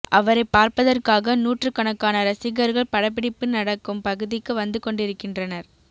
அவரை பார்ப்பதற்காக நூற்றுக்கணக்கான ரசிகர்கள் படப்பிடிப்பு நடக்கும் பகுதிக்கு வந்து கொண்டிருக்கின்றனர்